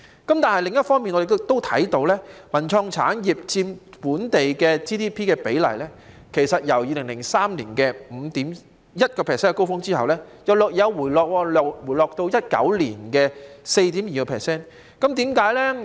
但是，另一方面，我們亦留意到，文化創意產業佔 GDP 的比例，在2003年達至 5.1% 的高峰後，便稍為回落至2019年的 4.2%。